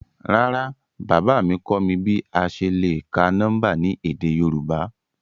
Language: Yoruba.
Rárá, baba mi kọ mi bi a ṣe le ka nọmba ni édé Yorùbá?